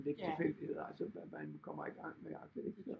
Lidt tilfældigheder altså at man kommer i gang med agtigt ikke